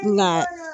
Nka